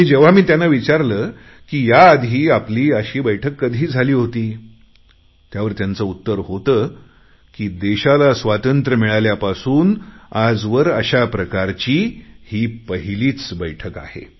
आणि जेव्हा मी त्यांना विचारले की याआधी आपली अशी बैठक कधी झाली होती त्यावर त्यांचे उत्तर होते की देशाला स्वातंत्र्य मिळाल्यापासून आजवर अशा प्रकारची ही पहिलीच बैठक आहे